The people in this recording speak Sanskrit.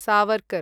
सावर्कर्